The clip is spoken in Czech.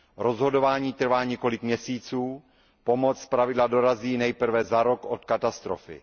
Rozhodování trvá několik měsíců, pomoc zpravidla dorazí nejprve za rok od katastrofy.